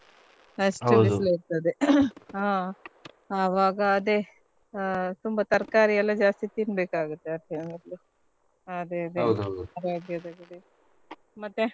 ಬಿಸಿಲು ಇರ್ತದೆ ಆಹ್ ಆವಾಗ ಅದೇ ಆ ತುಂಬಾ ತರ್ಕಾರಿ ಎಲ್ಲ ಜಾಸ್ತಿ ತಿನ್ಬೇಕ್ ಆಗುತ್ತೆ ಮತ್ತೆ.